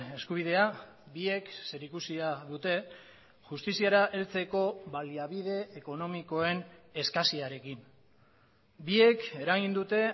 eskubidea biek zerikusia dute justiziara heltzeko baliabide ekonomikoen eskasiarekin biek eragin dute